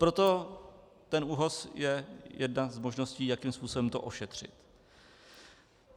Proto ten ÚOHS je jedna z možností, jakým způsobem to ošetřit.